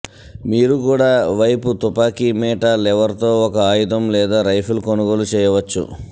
మీరు కూడా వైపు తుపాకీ మీట లివర్ తో ఒక ఆయుధం లేదా రైఫిల్ కొనుగోలు చేయవచ్చు